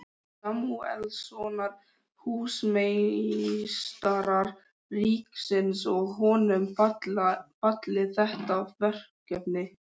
Samúelssonar, húsameistara ríkisins, og honum falið þetta verkefni.